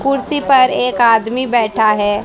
कुर्सी पर एक आदमी बैठा है।